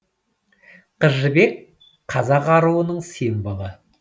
қыз жібек қазақ аруының символы